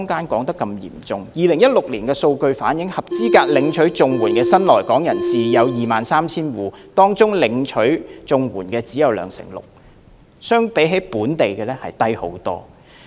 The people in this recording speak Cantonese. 根據2016年的數據，合資格領取綜援的新來港人士有 23,000 戶，當中領取綜援的比例只有兩成六，遠比本地數字少。